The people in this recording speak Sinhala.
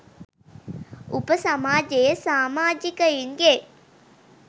උප සමාජයේ සාමාජිකයින් ගේ